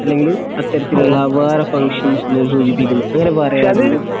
അല്ലെങ്കില് അത്തരത്തിലുള്ള അവാർഡ് ഫംഗ്ഷൻസിനെ സൂചിപ്പിക്കുന്നു